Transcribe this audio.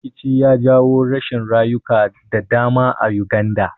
Rikici ya jawo rashin rayuka da dama Uganda